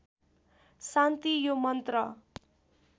शान्ति यो मन्त्र